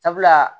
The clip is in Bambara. Sabula